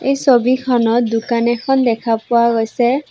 এই ছবিখনত দোকান এখন দেখা পোৱা গৈছে।